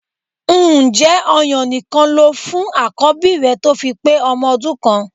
Ǹjẹ́ ọ̀yàn nìkan lo fún àkọ́bí rẹ tó fi pé ọmọ ọdún kan?